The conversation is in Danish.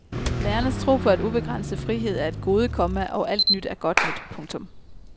Lærernes tro på at ubegrænset frihed er et gode, komma og alt nyt er godt nyt. punktum